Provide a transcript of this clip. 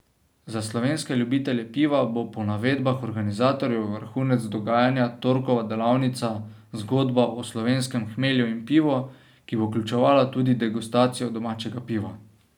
Za slovenske ljubitelje piva bo po navedbah organizatorjev vrhunec dogajanja torkova delavnica Zgodba o slovenskem hmelju in pivu, ki bo vključevala tudi degustacijo domačega piva.